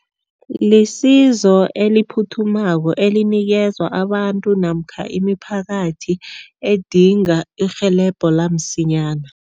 Lisizo eliphuthumako elinikezwa abantu namkha imiphakathi edinga irhelebho lamsinyana.